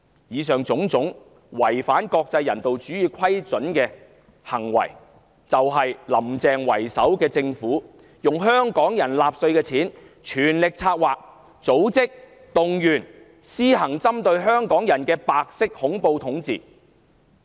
以上種種違反國際人道主義準則的行為都是"林鄭"為首的政府用香港人繳納的稅款全力策劃、組織及動員的，無非為了針對香港人施行白色恐怖統治。